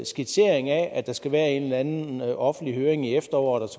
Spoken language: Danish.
skitsering af at der skal være en eller anden offentlig høring i efteråret og